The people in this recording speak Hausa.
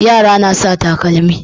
Yara na sa takalmi.